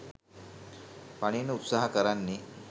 පනින්න උත්සහ කරන්නේ